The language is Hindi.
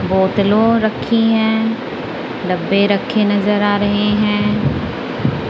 बोतलों रखी हैं डब्बे रखे नजर आ रहे हैं।